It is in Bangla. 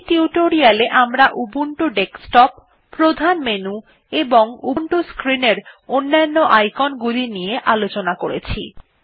এই টিউটোরিয়াল এ আমরা উবুন্টু ডেস্কটপ প্রধান মেনু এবং উবুন্টু স্ক্রিন এর অন্যন্য icon গুলি নিয়ে আলোচনা করেছি